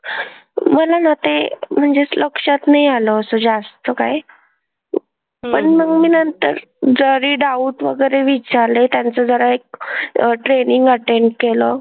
मला ना ते म्हणजे लक्षात नाही आलं असं जास्त काही. पण मी नंतर जरी doubt वगैरे विचारले त्यांचं जरा एक अह training attend केलं.